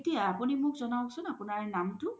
এতিয়া আপোনি মোক জনাওকচোন আপুনাৰ নামটো